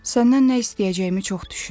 Səndən nə istəyəcəyimi çox düşündüm.